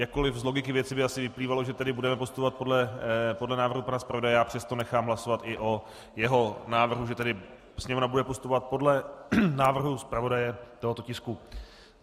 Jakkoli z logiky věci by asi vyplývalo, že tedy budeme postupovat podle návrhu pana zpravodaje, já přesto nechám hlasovat i o jeho návrhu, že tedy Sněmovna bude postupovat podle návrhu zpravodaje tohoto tisku.